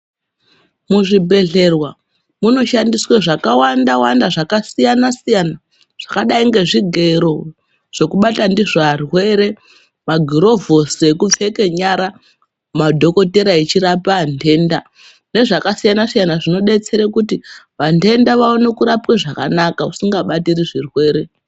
Muzvibhedhlera munoshandiswa zvakawanda-wanda zvakasiyana-siyana, zvakadai ngezvigero zvekubata ndizo arwere. Magurovhosi ekepfeke nyara madhokotera echirapa anhenda nezvakasiyana-siyana, zvinobetsere kuti vantenda vaone kurapwwa zvakanaka usinga batiri zvirwere.